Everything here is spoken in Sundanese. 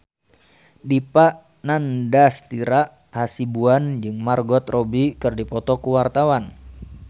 Dipa Nandastyra Hasibuan jeung Margot Robbie keur dipoto ku wartawan